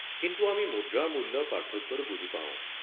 কিন্তু আমি মুদ্ৰাৰ মূল্যৰ পাৰ্থক্যটো বুজি পাওঁ।